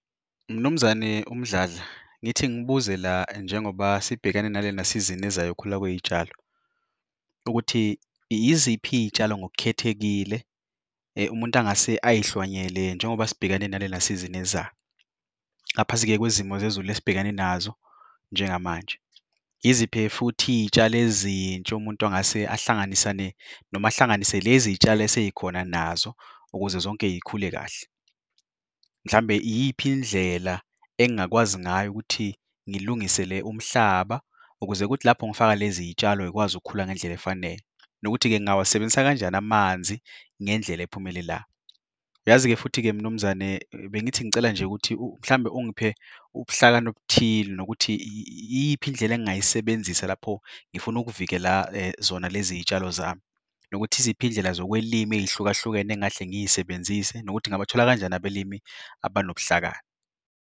Mnumzane uMdladla ngithi ngibuze la njengoba sibhekane nalena-season ezayokhula kwey'tshalo. Ukuthi yiziphi iy'tshalo ngok'khethekile umuntu angase ayihlwanyele njengoba sibhekane nalena-season eza, ngaphansi-ke kwezimo zezulu esibhekene nazo njengamanje? Yiziphi futhi iy'tshalo ezintsha umuntu angase ahlanganisane, noma ahlanganise lezitshalo eseyikhona nazo ukuze zonke yikhule kahle? Mhlambe iyiphi indlela engingakwazi ngayo ukuthi ngilungisele umhlaba, ukuze ukuthi lapho ngifaka lezitshalo yikwazi ukukhuluma ngendlela efanele? Nokuthi-ke ngingawasebenzisa kanjani amanzi ngendlela ephumelela? Yazi-ke futhi-ke Mnumzane, bengithi ngicela nje ukuthi mhlambe ungiphe ubuhlakani obuthile nokuthi iyiphi indlela engingayisebenzisa lapho ngifuna ukuvikela zona lezi iy'tshalo zami? Nokuthi yiziphi izindlela zokwelima ey'hluka hlukene engahle ngiyisebenzise, nokuthi ngingabathola kanjani abalimi abanobuhlakani?